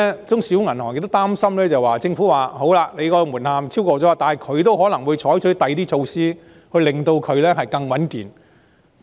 中小銀行另一擔心之處是，雖然他們未達門檻，但政府可能會採取其他措施令其更加穩健。